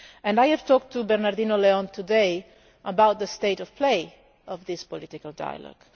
I have talked to Bernardino León today about the state of play of this political dialogue.